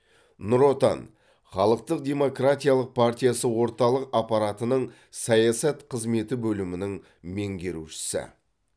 нұр отан халықтық демократиялық партиясы орталық аппаратының саясат қызметі бөлімінің меңгерушісі